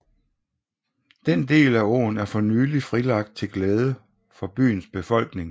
Den del af åen er for nylig frilagt til glæde for byens befolkning